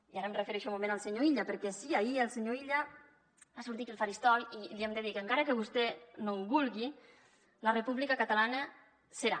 i ara em refereixo un moment al senyor illa perquè sí ahir el senyor illa va sortir aquí al faristol i li hem de dir que encara que vostè no ho vulgui la república catalana serà